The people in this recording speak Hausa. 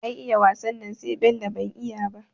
Ai iya wasan nan sai Bello, ban iya ba